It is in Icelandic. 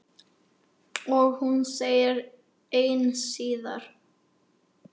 Og hún ein síðar.